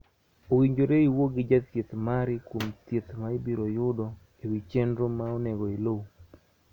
Owinjore iwuo gi jathieth mari kuom thieth ma ibiro yudo e wi chenro ma onego iluw